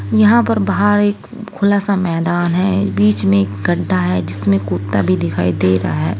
यहां पर बाहर एक खुला सा मैदान है बीच में एक गड्ढा है जिसमें कुत्ता भी दिखाई दे रहा है।